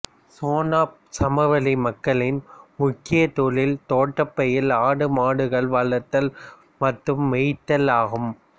செனாப் சமவெளி மக்களின் முக்கியத் தொழில் தோட்டப்பயிர் ஆடு மாடுகள் வளர்த்தல் மற்றும் மேய்த்தல் ஆகும்